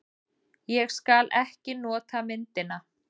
Ég skal ekki nota myndina.